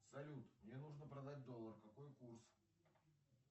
салют мне нужно продать доллар какой курс